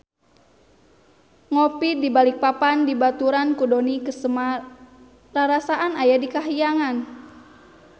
Ngopi di Balikpapan dibaturan ku Dony Kesuma rarasaan aya di kahyangan